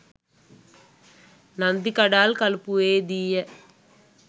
Nandikadal කලපුවේදීය